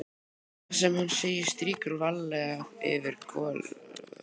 Það sem hann segir strýkur varlega yfir gömul sár.